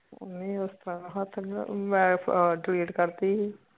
ਊਨਾ ਉਸਤਰਾ ਹੱਥ ਨੀ ਮੈਂ ਫੇਰ delete ਕਰਤੀ